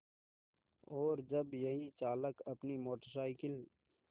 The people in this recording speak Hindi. और जब यही चालक अपनी मोटर साइकिल